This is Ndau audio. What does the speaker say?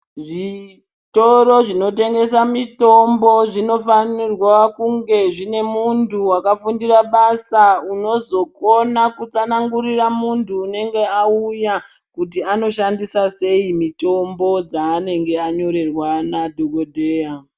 Zvitoro zvinotenhesa mitombo zvinofanira kunge zvine muntu wakafundire basa unozokona kutsanangurira muntu unenge auya kuti anoshandisa sei mitombo dzaanenge anyorerwa nadhokodheya.